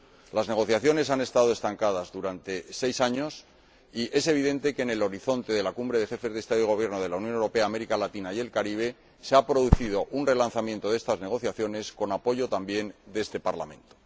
Las negociaciones han estado estancadas durante seis años y es evidente que, en el horizonte de la Cumbre de Jefes de Estado y de Gobierno de la Unión Europea, América Latina y el Caribe, se ha producido un relanzamiento de estas negociaciones, con apoyo también de este Parlamento.